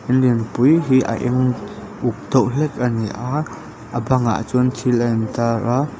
in lianpui hi a eng uk deuh hlek ani a a bangah chuan chil a in tar a.